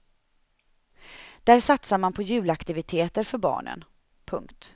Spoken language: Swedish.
Där satsar man på julaktiviteter för barnen. punkt